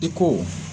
I ko